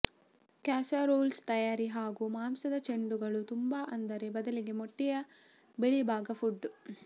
casseroles ತಯಾರಿ ಹಾಗೂ ಮಾಂಸದ ಚೆಂಡುಗಳು ತುಂಬು ಆದರೆ ಬದಲಿಗೆ ಮೊಟ್ಟೆಯ ಬಿಳಿಭಾಗ ಪುಟ್